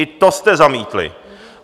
I to jste zamítli.